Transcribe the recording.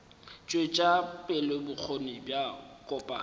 tšwetša pele bokgoni bja kopanya